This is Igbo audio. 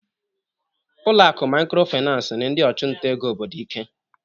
Ụlọ akụ Microfinance nyere ndị ọchụnta ego obodo ike.